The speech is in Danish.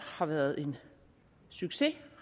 har været en succes